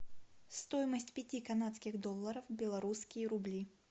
стоимость пяти канадских долларов белорусские рубли